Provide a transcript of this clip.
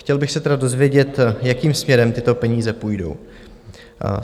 Chtěl bych se tedy dozvědět, jakým směrem tyto peníze půjdou.